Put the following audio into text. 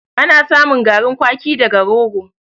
Ana samun garin kwaki daga rogo.